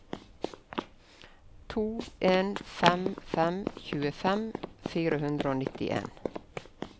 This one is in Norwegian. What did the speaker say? to en fem fem tjuefem fire hundre og nittien